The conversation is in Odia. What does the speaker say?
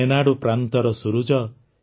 ରେନାଡ଼ୁ ପ୍ରାନ୍ତର ସୂରୁଜ